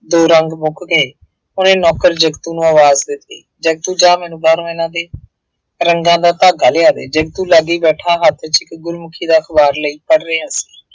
ਦੋ ਰੰਗ ਮੁੱਕ ਗਏ, ਉਹਨੇ ਨੌਕਰ ਜੱਗੂ ਨੂੰ ਆਵਾਜ਼ ਦਿੱਤੀ, ਜੱਗੂ ਜਾ ਮੈਨੂੰ ਬਾਹਰੋਂ ਇਹਨਾ ਦੇ ਰੰਗਾਂ ਦਾ ਧਾਗਾ ਲਿਆ ਦੇ, ਜੱਗੂ ਲਾਗੇ ਬੈਠਾ ਹੱਥ ਚ ਗੁਰਮੁੱਖੀ ਦਾ ਅਖਬਾਰ ਲਈ ਪੜ੍ਹ ਰਿਹਾ ਸੀ।